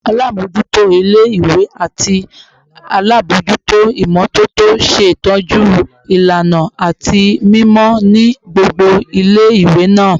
Alamojuto ile-iwe ati alabojuto imototo ṣetọju ilana ati mimọ ni gbogbo ile-iwe naa